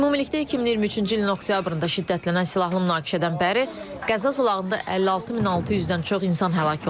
Ümumilikdə 2023-cü ilin oktyabrında şiddətlənən silahlı münaqişədən bəri Qəza zolağında 56600-dən çox insan həlak olub.